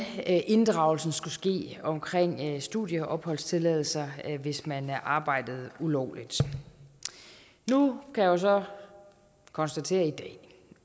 inddragelsen skulle ske omkring studieopholdstilladelser hvis man arbejdede ulovligt nu kan jeg så konstatere i dag